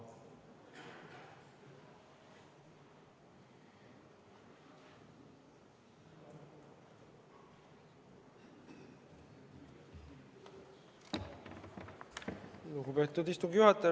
Lugupeetud istungi juhataja!